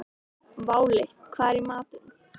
Váli, hvað er í matinn?